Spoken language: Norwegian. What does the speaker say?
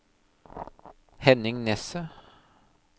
Henning Nesset